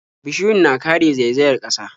Bishiyu na kare zaizayar ƙasa.